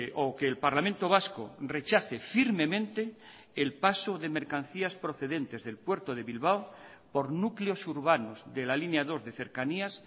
o que el parlamento vasco rechace firmemente el paso de mercancías procedentes del puerto de bilbao por núcleos urbanos de la línea dos de cercanías